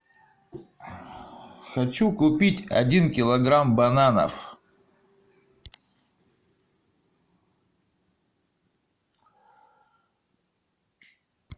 хочу купить один килограмм бананов